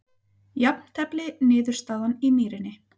Jafntefli niðurstaðan í Mýrinni